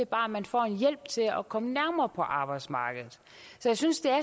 bare at man får en hjælp til at komme nærmere på arbejdsmarkedet så jeg synes det er